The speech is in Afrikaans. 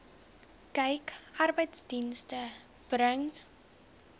kyk arbeidsdienste bring